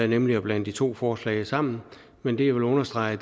nemlig at blande de to forslag sammen men det jeg vil understrege